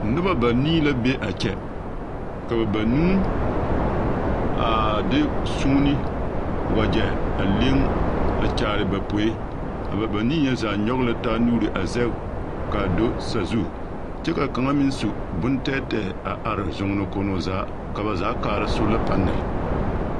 Noba banii la be a kyɛ ka ba banuu a de suune waɡyɛ a leŋ a kyaare ba poe a ba banii nyɛ zaa nyɔɡe la ba nuuri a zɛɡe ka a do sazu kyɛ ka kaŋa meŋ su bontɛɛtɛɛ are zoɡenekonnoo zaa ka ba zaa kaara sola panɛl.